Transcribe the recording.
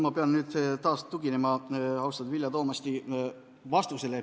Ma pean nüüd taas tuginema austatud Vilja Toomasti vastusele.